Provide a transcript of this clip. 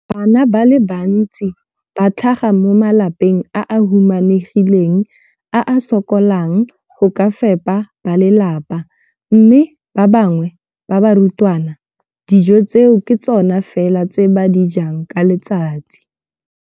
Bana ba le bantsi ba tlhaga mo malapeng a a humanegileng a a sokolang go ka fepa ba lelapa mme ba bangwe ba barutwana, dijo tseo ke tsona fela tse ba di jang ka letsatsi.